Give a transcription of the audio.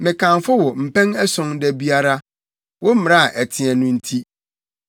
Mekamfo wo mpɛn ason da biara, wo mmara a ɛteɛ no nti.